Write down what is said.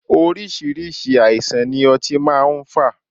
Oríṣiríṣi àìsàn ni ọtí máa ń fà.